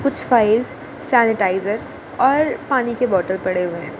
कुछ files sanitiser और पानी के बोटल पड़े हुए है।